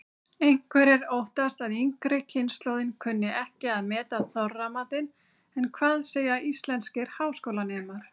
Einhverjir óttast að yngri kynslóðin kunni ekki að meta Þorramatinn en hvað segja íslenskir háskólanemar?